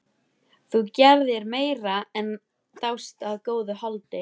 Þú gerðir meira en dást að góðu holdi.